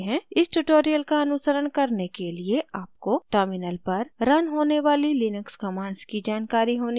इस tutorial का अनुसरण करने के लिए आपको terminal पर रन होने वाली लिनक्स commands की जानकारी होनी चाहिए